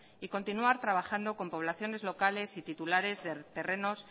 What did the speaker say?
y continuar trabajando con poblaciones locales y titulares de terrenos